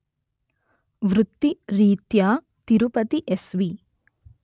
వృత్తి రీత్యా తిరుపతి ఎస్వి